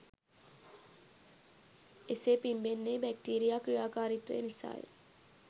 එසේ පිම්බෙන්නේ බැක්ටීරියා ක්‍රියාකාරීත්වය නිසාය.